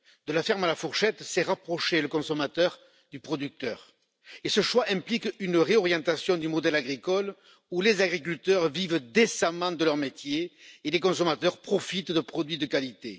De la ferme à la fourchette, c'est rapprocher le consommateur du producteur, et ce choix implique une réorientation du modèle agricole, pour que les agriculteurs vivent décemment de leur métier et que les consommateurs profitent de produits de qualité.